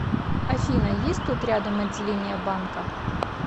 афина есть тут рядом отделение банка